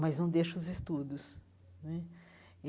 mas não deixa os estudos né.